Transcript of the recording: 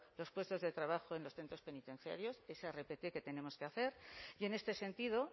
los puestos de trabajo en los centros penitenciarios esa rpt que tenemos que hacer y en este sentido